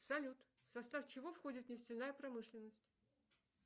салют в состав чего входит нефтяная промышленность